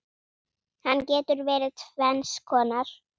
Hann getur verið tvenns konar